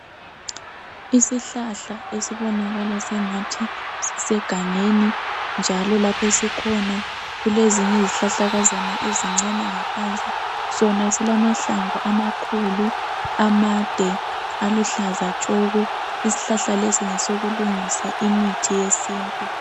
Isihlahla esibonakala sengathi sisegangeni, njalo laph' esikhona kuleziny' izihlahlakazana ezincani ngaphansi. Sona silamahlamvu amakhulu, amade, aluhlaza tshoko. Ishlahla lesi ngesokulungisa imithi yesintu.